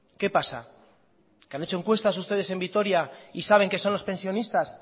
qué pasa que han hecho encuestas ustedes en vitoria y saben que son los pensionistas